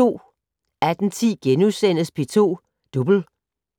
18:10: P2 Double *